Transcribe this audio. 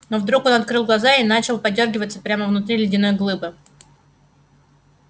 но он вдруг открыл глаза и начал подёргиваться прямо внутри ледяной глыбы